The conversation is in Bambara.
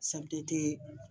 CMDT